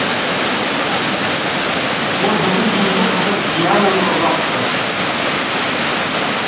ол бүгін кенже қызы диананы ұзатты